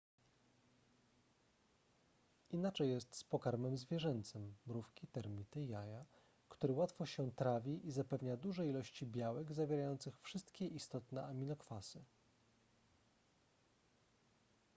inaczej jest z pokarmem zwierzęcym mrówki termity jaja który łatwo się trawi i zapewnia duże ilości białek zawierających wszystkie istotne aminokwasy